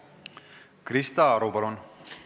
Krista Aru, palun!